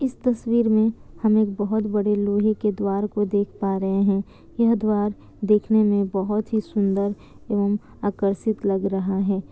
इस तस्वीर मे हम एक बोहोत बड़े लोहे के द्वार को देख पा रहे है ये द्वार देखने मे बोहोत ही सुंदर ओर आकर्षित लग रहा है।